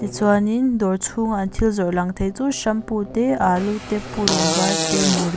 chuanin dawr chhunga an thil zawrh lang thei chu shampoo te alu te purun var te murrh--